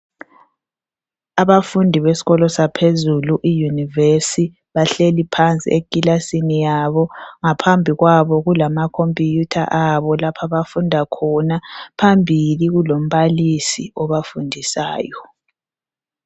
Abafundi besikolo saphezulu i univesi bahleli phansi ekilasini yabo, ngaphambi kwabo kulama khompiyutha alapho abafunda khona. Phambili kulombalisi obafundisayo.